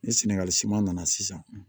Ni sɛnɛgali siman nana sisan